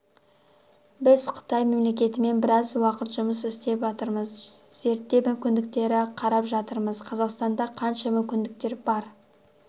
біз қытай мемлекетімен біраз уақыт жұмыс істеп атырмыз зерттеп мүмкіндіктерді қарап жатырмыз қазақстанда қанша мүмкіндіктер бар